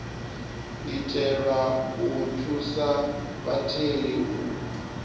itelwa u thusa vhatheli u